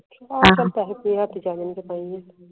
ਆਹੋ ਚਲ ਹੱਥ ਪੈਰ ਮਾਰਨੇ ਚਾਹੀਦੇ ਐ